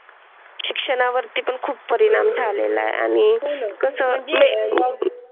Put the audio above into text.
शिक्षणा वरती पण खूप परिणाम झालेला आणि कसं म्हणजे मग?